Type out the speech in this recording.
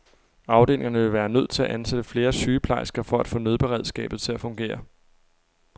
Afdelingerne ville være nødt til at ansætte flere sygeplejersker for at få nødberedskabet til at fungere.